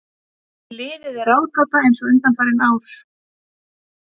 Liðið er ráðgáta eins og undanfarin ár.